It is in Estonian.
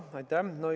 Aitäh!